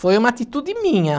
Foi uma atitude minha.